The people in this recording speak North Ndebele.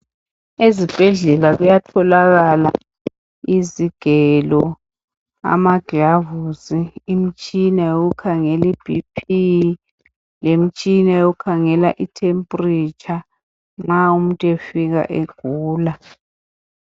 Ezibhedlela kuyatholakala izigelo, amaglavusi, imtshina yokukhangela i BP, lemtshina yokukhangela i temperature nxa umuntu efika egula.